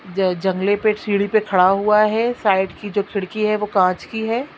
ज जंगले पे सीढ़ी पे खड़ा हुआ है साइड की जो खिड़की है वो कांच की है।